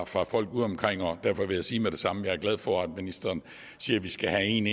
fra folk udeomkring undrer og derfor vil jeg sige med det samme at jeg er glad for at ministeren siger at vi skal have en